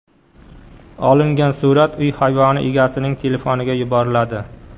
Olingan surat uy hayvoni egasining telefoniga yuboriladi.